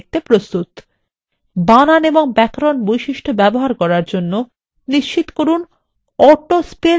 বানান এবং ব্যাকরণ বৈশিষ্ট্য ব্যবহার করার জন্য নিশ্চিত করুন to স্পেল চেক বিকল্পটি সক্রিয় রয়েছে